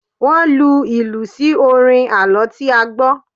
Wọ́n lu ìlù sí orin àlọ́ tí a gbọ́.